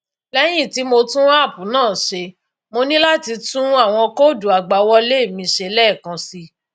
lẹyìn tí mo tún app náà ṣe mo ní láti tún àwọn kóòdù àgbàwọlé mi ṣe lẹẹkan síi